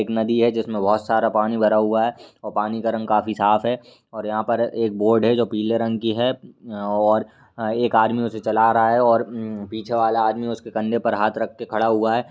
एक नदी है जिसमें बहुत सारा पानी भरा हुआ है और पानी का रंग काफी साफ़ है और यहाँ पर एक बोट है जो पीले रंग की है और अ एक आदमी उसे चला रहा है और उम्म पीछे वाला आदमी उसके कंधे पर हाथ रख कर खड़ा हुआ है।